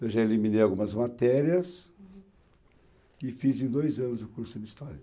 Eu já eliminei algumas matérias, uhum, e fiz em dois anos o curso de História.